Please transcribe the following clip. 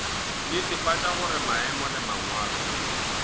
netefatša gore maemo le mangwalo